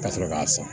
Ka sɔrɔ k'a sɔn